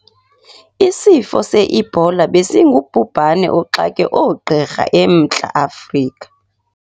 Isifo se-ebola besingubhubhane oxake oogqirha eMntla-Afrika.